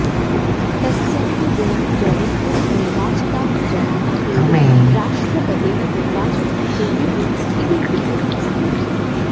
तस्यानुगुणं जनेभ्यः निर्वाचिताः जनाः एव राष्ट्रपतेः निर्वाचनं कुर्युः इति लिखितमस्ति